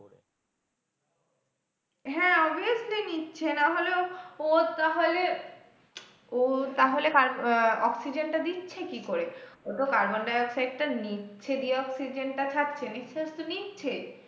হ্যাঁ obviously নিচ্ছে না হলে, ও ও তাহলে ও তাহলে আহ অক্সিজেনটা দিচ্ছে কি করে, ও তো কার্বন ডাই-অক্সাইডটা নিচ্ছে দিয়ে অক্সিজেনটা ছাড়ছে নিঃশ্বাস তো নিচ্ছে,